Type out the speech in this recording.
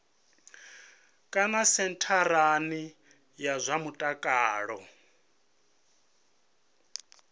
kana sentharani ya zwa mutakalo